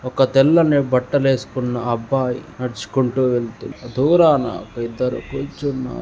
ఒక తెల్లని బట్టలు వేసుకున్న అబ్బాయి నడుచుకుంటూ వెళ్తున్నాడు దూరాన ఇద్దరు కూర్చున్నారు.